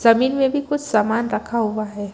जमीन में भी कुछ सामान रखा हुआ है।